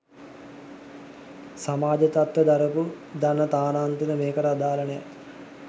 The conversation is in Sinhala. සමාජ් තත්ත්ව දරපු දරන තානාන්තර මේකට අදාල නෑ.